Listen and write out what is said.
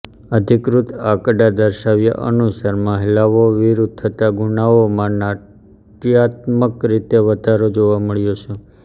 અધિકૃત આંકડા દર્શાવ્યા અનુસાર મહિલાઓ વિરુદ્ધ થતા ગુનાઓમાં નાટ્યાત્મક રીતે વધારો જોવા મળ્યો છે